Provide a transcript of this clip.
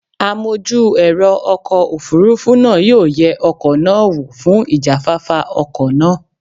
Amojú ẹ̀rọ ọkọ̀ Òfurufú náà yóò yẹ ọkọ̀ náà wò fún ìjáfáfá ọkọ̀ náà.